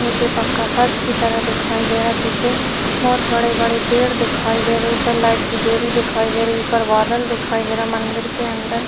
नीचे पक्का फर्श की तरह दिखाई दे रहा है पीछे बोहोत बड़े बड़े पेड़ दिखाई दे रहे है ऊपर लाइट की डोरी दिखाई दे रही है ऊपर बादल दिखाई दे रहे है मंदिर के अंदर--